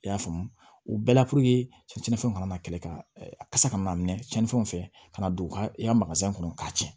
I y'a faamu u bɛɛ la puruke cɛnnifɛnw kana na kɛlɛ ka a kasa kana minɛ cɛnnifɛnw fɛ ka na don u ka kɔnɔ k'a tiɲɛ